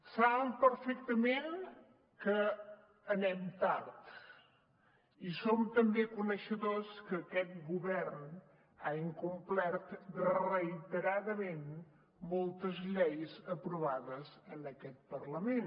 saben perfectament que anem tard i som també coneixedors que aquest govern ha incomplert reiteradament moltes lleis aprovades en aquest parlament